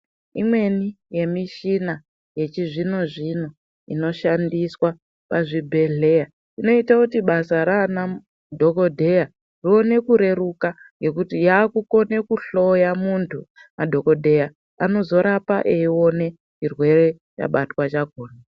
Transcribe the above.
Imweni yemishina yechizvino zvino inoshandiswa pazvibhedhleya inoite kuti basa ranamu dhokodheya rione kureruka ngekuti yakukone kuhloya muntu madhokodheya anozorapa eione chirwere chabatwa chakhona.